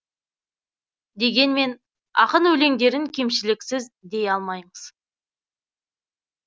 дегенмен ақын өлеңдерін кемшіліксіз дей алмаймыз